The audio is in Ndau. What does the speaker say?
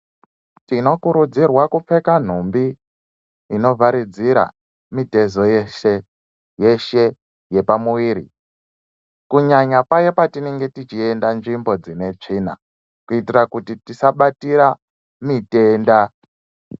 Tinokurudzirwa kupfeka nhumbi dzinovharidzira mitezo yeshe yepamuwiri kunyanya paya patinenge tichienda nzvimbo dzine tsvina kuitira kuti tisabatira mitenda.